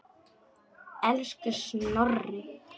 Elsku Snorri.